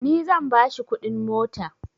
Ni zan ba shi kuɗin mota